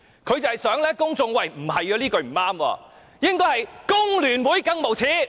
他想公眾覺得這句話並不對，應該是"工聯會更無耻"。